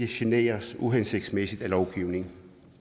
generes uhensigtsmæssigt af lovgivningen